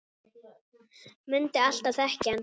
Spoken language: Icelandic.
Mundi alltaf þekkja hann.